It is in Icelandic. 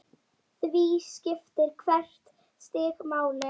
Því skiptir hvert stig máli.